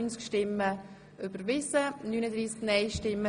Sie haben die Motion angenommen.